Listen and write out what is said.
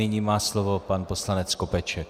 Nyní má slovo pan poslanec Skopeček.